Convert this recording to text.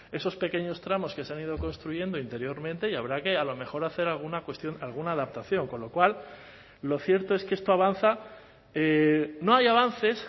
esos pequeños tramos que se han ido construyendo interiormente y habrá que a lo mejor hacer alguna cuestión alguna adaptación con lo cual lo cierto es que esto avanza no hay avances